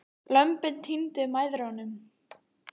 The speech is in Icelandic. Lömbin týndu mæðrunum.